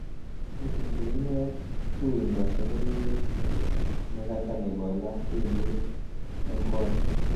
Indenee tuindo soloiwet nekata nebo labkeyte eng kot